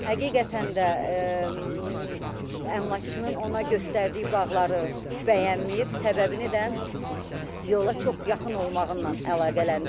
Həqiqətən də əmlakçının ona göstərdiyi bağları bəyənməyib, səbəbini də yola çox yaxın olmağı ilə əlaqələndirib.